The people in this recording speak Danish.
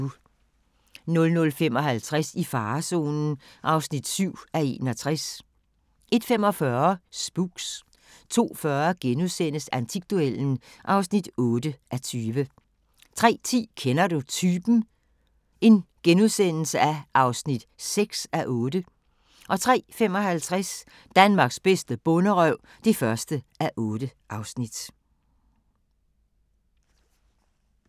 00:55: I farezonen (7:61) 01:45: Spooks 02:40: Antikduellen (8:20)* 03:10: Kender Du Typen? (6:8)* 03:55: Danmarks bedste bonderøv (1:8)